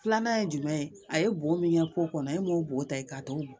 Filanan ye jumɛn ye a ye bo min kɛ ko kɔnɔ e m'o bo ta k'a t'o dun